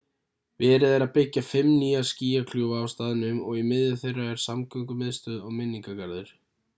verið er að byggja fimm nýja skýjakljúfa á staðnum og í miðju þeirra er samgöngumiðstöð og minningargarður